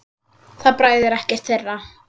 Það bræðir ekkert þeirra.